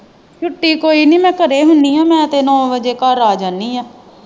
ਛੁੱਟੀ ਕੋਈ ਨਹੀਂ ਮੈਂ ਘਰੇ ਹੁੰਦੀ ਹਾਂ। ਮੈਂ ਤੇ ਨੌਂ ਵੱਜੇ ਘਰ ਆ ਜਾਂਦੀ ਹਾਂ।